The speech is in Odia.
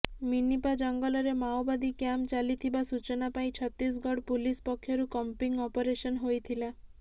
ମିନିପା ଜଙ୍ଗଲରେ ମାଓବାଦୀ କ୍ୟାମ୍ପ ଚାଲିଥିବା ସୂଚନା ପାଇ ଛତିଶଗଡ଼ ପୁଲିସ୍ ପକ୍ଷରୁ କମ୍ବିଂ ଅପରେସନ୍ ହୋଇଥିଲା